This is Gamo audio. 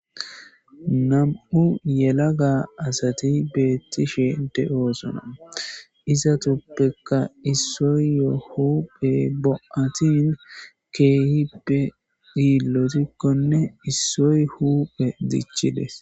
Nam'u yelagga asati betishshen de'esona izatuppekka isoy bo'atti keehippe lozikkonne issoy huppe dichchides.